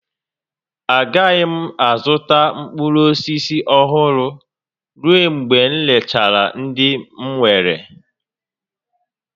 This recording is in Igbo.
Agaghị m azụta mkpụrụ osisi ọhụrụ ruo mgbe m rechara ndị m nwere